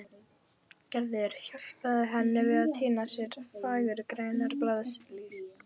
Gerður hjálpaði henni við að tína af sér fagurgrænar blaðlýs.